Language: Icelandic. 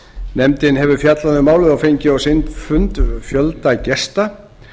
nefndin hefur fjallað um málið og fengið á sinn fund fjölda gesta